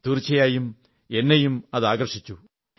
തീർച്ചയായും എന്നെയും അത് ആകർഷിച്ചു